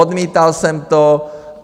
Odmítal jsem to.